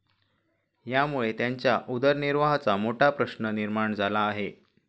यामुळे त्यांच्या उदरनिर्वाहाचा मोठा प्रश्न निर्माण झाला आहे.